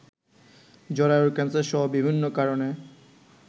জরায়ুর ক্যান্সারসহ বিভিন্ন কারণে